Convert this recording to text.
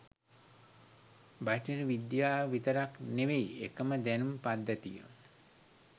බටහිර විද්‍යාව විතරක් නෙවෙයි එකම දැනුම් පද්ධතිය